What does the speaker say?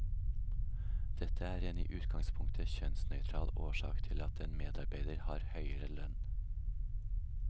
Dette er en i utgangspunktet kjønnsnøytral årsak til at en medarbeider har høyere lønn.